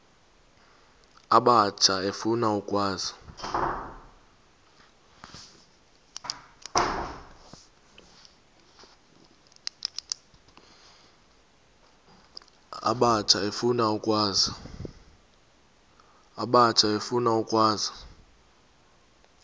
abatsha efuna ukwazi